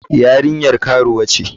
Yarinyar karuwa ce.